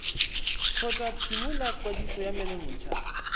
kgotsa phimola kwadiso ya menontsha